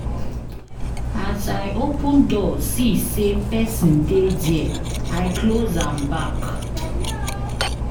As I open door see sey pesin dey there, I close am back.